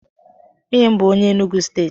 Nwunye m bu onye Enugu steeti.